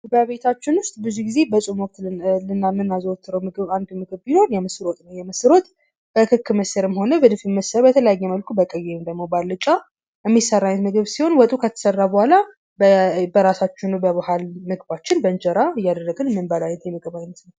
በቤታችን ውስጥ ብዙ ጊዜ በጾም ወቅት የምናዘወትረው ምግብ አንድ ምግብ ቢኖር የምስር ወጥ ነው። የምስር ወጥ በክክ ምስርም ሆነ በድፍን ምስር በተለያየ መልኩ በቀይ ወይም በአልጫ የሚሰራ አይነት ምግብ ሲሆን ወጡ ከተሰራ በኋላ በራሳችን በባህል ምግባችን በእንጀራ እያደረግን እምንበላው አይነት የምግብ አይነት ነው።